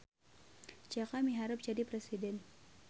Jaka miharep jadi presiden